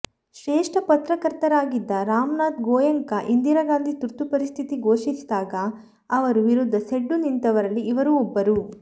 ಶ್ರೇಷ್ಠ ಪತ್ರಕರ್ತರಾಗಿದ್ದ ರಾಮನಾಥ್ ಗೋಯಂಕಾ ಇಂದಿರಾ ಗಾಂಧಿ ತುರ್ತು ಪರಿಸ್ಥಿತಿ ಘೋಷಿಸಿದಾಗ ಅವರು ವಿರುದ್ಧ ಸೆಡ್ಡು ನಿಂತವರಲ್ಲಿ ಇವರು ಒಬ್ಬರು